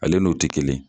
Ale n'o tɛ kelen ye